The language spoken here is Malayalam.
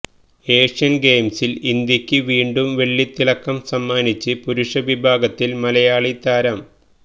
ഏഷ്യൻ ഗെയിംസിൽ ഇന്ത്യയ്ക്ക് വീണ്ടും വെള്ളിത്തിളക്കം സമ്മാനിച്ച് പുരുഷവിഭാഗത്തിൽ മലയാളി താരം